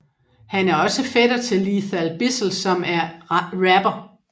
Han er også fætter til Lethal Bizzle som er rapper